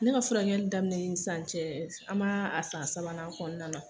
Ne ka furakɛli daminɛ sisan cɛ an m'a san sabanan kɔnɔna na